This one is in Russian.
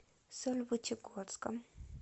сольвычегодском